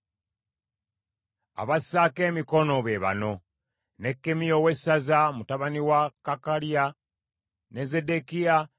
Abassaako emikono be bano: Nekkemiya owessaza, mutabani wa Kakaliya. Ne Zeddekiya,